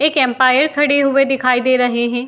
एक एम्पायर खड़ी हुए दिखाई दे रहे हैं।